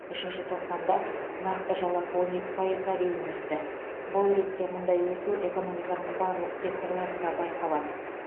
үшінші тоқсанда нақты жалақы он екі пайызға дейін өсті бұл ретте мұндай өсу экономиканың барлық секторларында байқалады